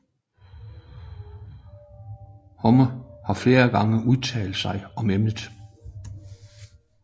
Homme har flere gange udtalt sig om emnet